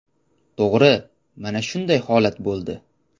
To‘g‘ri, mana shunday holat bo‘ldi.